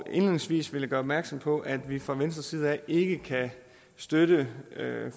indledningsvis vil jeg gøre opmærksom på at vi fra venstres side ikke kan støtte